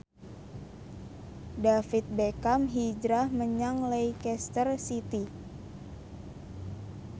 David Beckham hijrah menyang Leicester City